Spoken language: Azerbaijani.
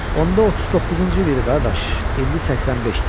Onda 39-cu il idi, qardaş, indi 85-dir.